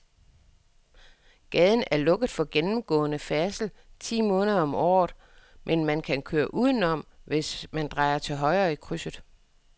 Gaden er lukket for gennemgående færdsel ti måneder om året, men man kan køre udenom, hvis man drejer til højre i krydset.